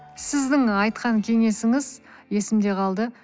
сіздің айтқан кеңесіңіз есімде қалды